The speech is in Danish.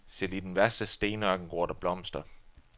Selv i den værste stenørken gror der blomster.